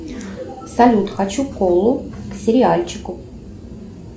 салют хочу колу к сериальчику